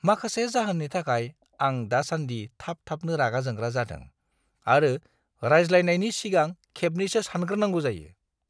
माखासे जाहोननि थाखाय, आं दासान्दि थाब-थाबनो रागा जोंग्रा जादों आरो रायज्लायनायनि सिगां खेबनैसो सानग्रोनांगौ जायो।